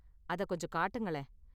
அதைக் கொஞ்சம் காட்டுங்களேன்.